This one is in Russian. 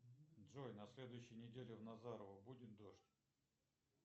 джой на следующей неделе в назарово будет дождь